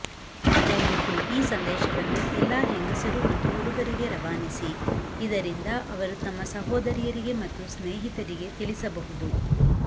ದಯವಿಟ್ಟು ಈ ಸಂದೇಶವನ್ನು ಎಲ್ಲಾ ಹೆಂಗಸರು ಮತ್ತು ಹುಡುಗರಿಗೆ ರವಾನಿಸಿ ಇದರಿಂದ ಅವರು ತಮ್ಮ ಸಹೋದರಿಯರಿಗೆ ಮತ್ತು ಸ್ನೇಹಿತರಿಗೆ ತಿಳಿಸಬಹುದು